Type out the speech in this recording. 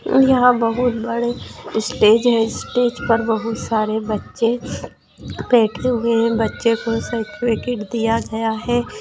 यहां बहुत बड़े स्टेज है स्टेज पर बहुत सारे बच्चे बैठे हुए हैं बच्चे को सर्टिफिकेट दिया गया है।